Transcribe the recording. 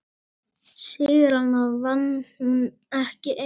Sigrana vann hún ekki ein.